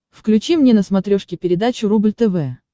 включи мне на смотрешке передачу рубль тв